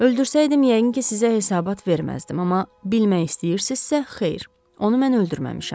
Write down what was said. Öldürsəydim yəqin ki, sizə hesabat verməzdim, amma bilmək istəyirsizsə, xeyr, onu mən öldürməmişəm.